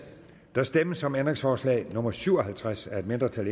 der stemmes om ændringsforslag nummer syv og halvtreds af et mindretal